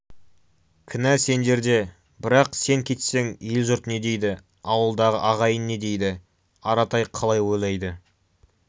кінә сендерде бірақ сен кетсең ел-жұрт не дейді ауылдағы ағайын не дейді аратай қалай ойлайды